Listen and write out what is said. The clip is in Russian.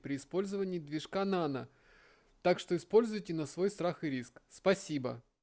при использовании движка нано так что используйте на свой страх и риск спасибо